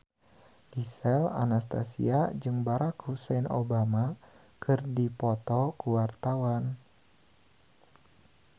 Gisel Anastasia jeung Barack Hussein Obama keur dipoto ku wartawan